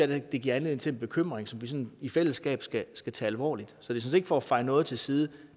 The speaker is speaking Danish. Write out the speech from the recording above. da det giver anledning til en bekymring som vi sådan i fællesskab skal skal tage alvorligt så det set ikke for at feje noget til side